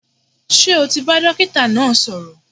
Ṣé o ti bá dókítà náà sọ̀rọ̀?